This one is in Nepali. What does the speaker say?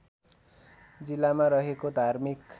जिल्लामा रहेको धार्मिक